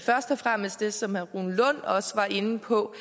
først og fremmest det som herre rune lund også var inde på